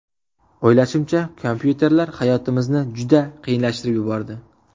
O‘ylashimcha, kompyuterlar hayotimizni juda qiyinlashtirib yubordi.